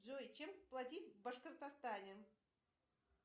джой чем платить в башкортостане